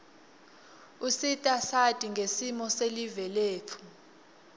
usita sati ngesimo silive letfu